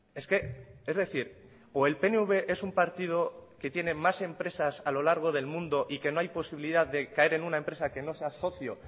es que es decir o el pnv es un partido que tiene más empresas a lo largo del mundo y que no hay posibilidad de caer en una empresa que no sea socio